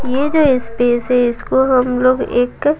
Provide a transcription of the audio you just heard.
ये जो स्पेस है इसको हम लोग एक।